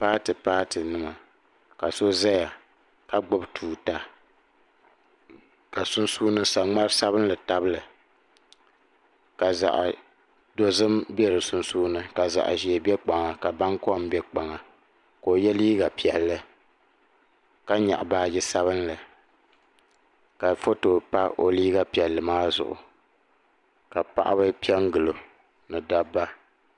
Paati paati nima ka so zaya ka gbibi tuuta ka sunsuuni saŋmari sabinli tabili ka zaɣa dozim be di sunsuuni ka zaɣa ʒee be kpaŋa ka bankom be kpaŋa ka o ye liiga piɛlli ka nyaɣi baaji sabinli ka foto pa o liiga piɛlli maa zuɣu ka paɣaba piɛngili o ni dabba.